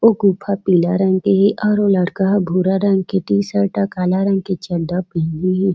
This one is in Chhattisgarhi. ओ गुफा पीला रंग के हे और ओ ह लड़का भूरा रंग के टी-शर्ट काला रंग के चड्डा पहिने हे।